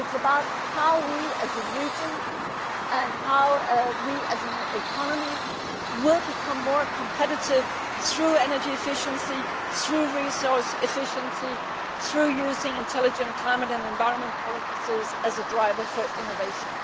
It is about how we, as a region and as an economy, will become more competitive through energy efficiency, resource efficiency and using intelligent climate and environment policies as a driver for innovation.